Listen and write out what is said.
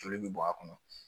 Joli bɛ bɔ a kɔnɔ